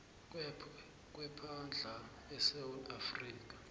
kwepahla esewula afrika